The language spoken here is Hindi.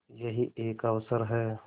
यही एक अवसर है